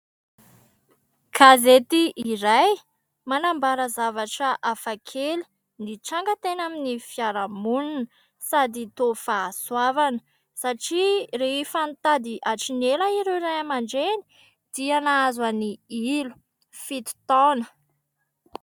Gazety iray manambara zavatra hafa kely nitranga teny amin'ny fiarahamonina sady toa fahasoavana satria rehefa nitady hatrin'ny ela ireo Ray aman-dReny dia nahazo an'i Ilo, fito taona.